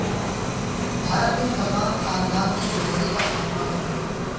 بھارت میں مسلمان خاندان نے زندگی کا خاتمہ کر لیا